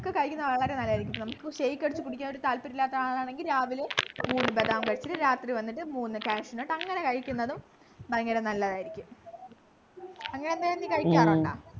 കഴിക്കുന്ന വളരെ നല്ലതായിരിക്കും നമുക്ക് shake അടിച്ചു കുടിക്കാനൊരു താല്പര്യം ഇല്ലാത്ത ആളാണെങ്കിൽ രാവിലെ മൂന്നു ബദാം കഴിച്ചു രാത്രി വന്നിട്ട് മൂന്നു cashew nut അങ്ങനെ കഴിക്കുന്നതും ഭയങ്കര നല്ലതായിരിക്കും അങ്ങനെ എന്തെങ്കിലും നീ കഴിക്കാറുണ്ടാ